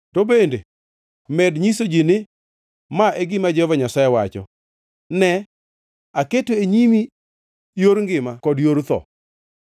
“To bende, med nyiso ji ni, ‘Ma e gima Jehova Nyasaye wacho: Ne, aketo e nyimi yor ngima kod yor tho.